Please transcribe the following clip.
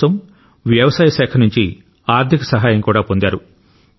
ఇందుకోసం వ్యవసాయ శాఖ నుంచి ఆర్థిక సహాయం కూడా పొందారు